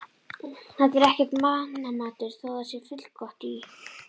Þetta er ekki mannamatur, þó það sé fullgott í